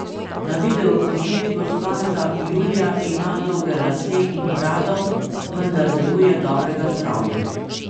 Na videoposnetku s konca julija ima dolge lase in brado, vendar deluje dobrega zdravja.